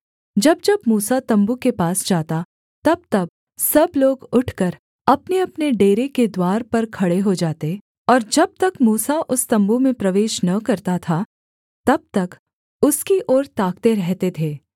जब जब मूसा तम्बू के पास जाता तबतब सब लोग उठकर अपनेअपने डेरे के द्वार पर खड़े हो जाते और जब तक मूसा उस तम्बू में प्रवेश न करता था तब तक उसकी ओर ताकते रहते थे